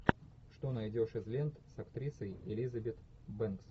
что найдешь из лент с актрисой элизабет бэнкс